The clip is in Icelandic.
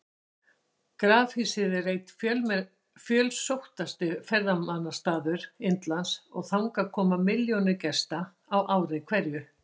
Grafhýsið er einn fjölsóttasti ferðamannastaður Indlands og þangað koma milljónir gesta á ári hverju.